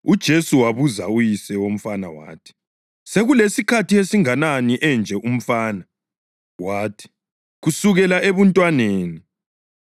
UJesu wabuza uyise womfana wathi, “Sekulesikhathi esingakanani enje umfana?” Wathi, “Kusukela ebuntwaneni.